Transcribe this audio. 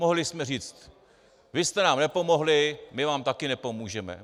Mohli jsme říct: vy jste nám nepomohli, my vám také nepomůžeme.